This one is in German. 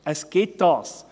Es gibt dies.